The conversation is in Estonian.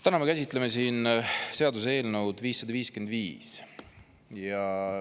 Täna me käsitleme siin seaduseelnõu 555.